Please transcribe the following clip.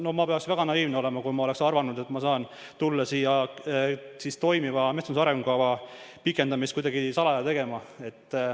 No ma peaksin väga naiivne olema, kui ma oleks arvanud, et ma saan siia tulla toimiva metsanduse arengukava pikendamist kuidagi salaja tegema.